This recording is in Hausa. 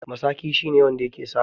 Masaƙi shine wanda yake saƙa.